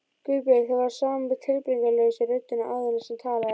Guðbjörg. það var sama tilbreytingarlausa röddin og áður sem talaði.